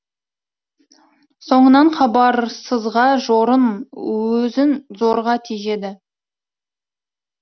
соңынан хабарсызға жорын өзін зорға тежеді